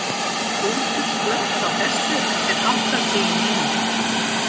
Hrútur, slökktu á þessu eftir áttatíu mínútur.